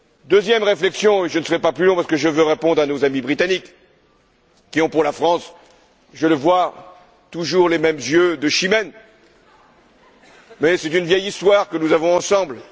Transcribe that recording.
Deuxième réflexion je ne serai pas plus long parce que je veux répondre à nos amis britanniques qui ont pour la France, je le vois, toujours les mêmes yeux de Chimène, mais c'est une vieille histoire que nous avons ensemble...